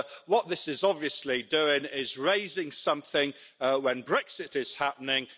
What this is obviously doing is raising something when Brexit is happening